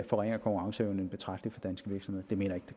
forringer konkurrenceevnen betragteligt for danske virksomheder det mener